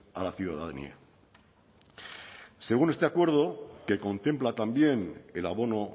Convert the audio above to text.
a la ciudadanía según este acuerdo que contempla también el abono